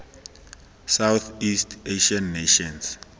southeast asian nations